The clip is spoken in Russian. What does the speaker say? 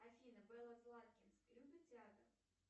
афина белла златкис любит театр